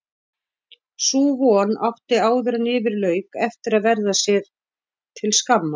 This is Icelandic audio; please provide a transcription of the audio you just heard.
Sú von átti áðuren yfir lauk eftir að verða sér til skammar.